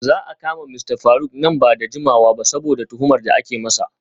Za a kama Mista Faruk nan ba da jimawa ba saboda tuhumar da ake masa.